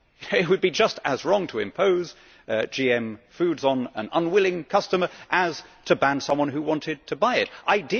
It would be just as wrong to impose GM foods on an unwilling customer as to ban someone who wanted to buy it from doing so.